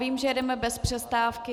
Vím, že jedeme bez přestávky.